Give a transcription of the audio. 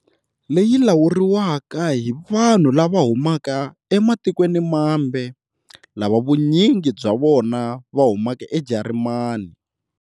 Leyi lawuriwaka hi vanhu lava humaka ematikweni mambe, lava vunyingi bya vona va humaka eJarimani.